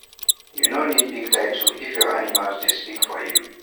you no need big title if your animals dey speak for you